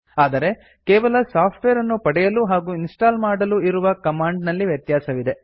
ಆದರೆ ಕೇವಲ ಸಾಫ್ಟ್ವೇರ್ ಅನ್ನು ಪಡೆಯಲು ಹಾಗು ಇನ್ಸ್ಟಾಲ್ ಮಾಡಲು ಇರುವ ಕಮಾಂಡ್ ನಲ್ಲಿ ವ್ಯತ್ಯಾಸವಿದೆ